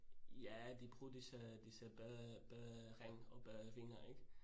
ja de bruger disse disse badering og badevinger ik?